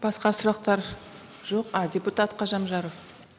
басқа сұрақтар жоқ а депутат қожамжаров